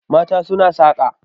mata suna saka